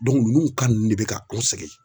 nunnu ka nunnu de be ka anw sɛgɛn.